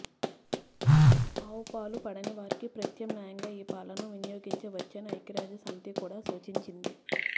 ఆవు పాలు పడని వారికి ప్రత్యామ్నాయంగా ఈ పాలను వినియోగించ వచ్చని ఐక్యరాజ్యసమితి కూడా సూచించింది